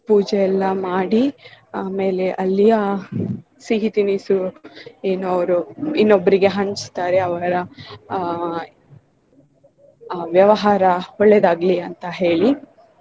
ಪೂಜೆ ಎಲ್ಲಾ ಮಾಡಿ ಆಮೇಲೆ ಅಲ್ಲಿಯ ಸಿಹಿ ತಿನಿಸು ಏನು ಅವರು ಇನ್ನೊಬ್ರಿಗೆ ಹಂಚ್ತಾರೆ ಅವರ ಆಹ್ ವ್ಯವಹಾರ ಒಳ್ಳೇದಾಗಲಿ ಅಂತ ಹೇಳಿ.